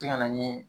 Tɛ na ni